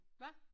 Hvad?